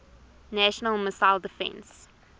national missile defense